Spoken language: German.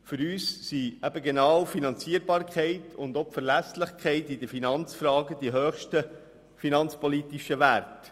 Für uns sind die Finanzierbarkeit und die Verlässlichkeit in Finanzfragen die höchsten finanzpolitischen Werte.